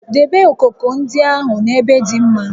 Debe okooko ndị ahụ n'ebe dị mma!